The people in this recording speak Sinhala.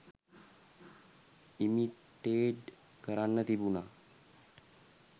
ඉමිටේඞ් කරන්න තිබුණා.